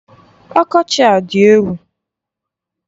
Ọkọchị a adị egwu!